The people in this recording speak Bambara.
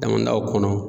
Damindaw kɔnɔ